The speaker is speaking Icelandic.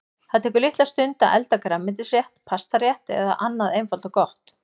Það tekur litla stund að elda grænmetisrétt, pastarétt eða annað einfalt og gott.